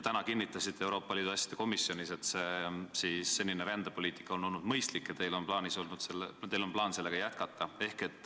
Täna kinnitasite Euroopa Liidu asjade komisjonis, et senine rändepoliitika on olnud mõistlik ja teil on plaan sellega jätkata.